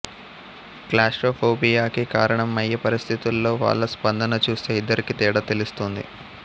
క్లాస్ట్రోఫోబియాకి కారణమయ్యే పరిస్థితుల్లో వాళ్ల స్పందన చూస్తే ఇద్దరికీ తేడా తెలుస్తుంది